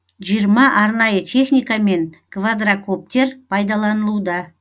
жиырма арнайы техника мен квадракоптер пайдаланылуда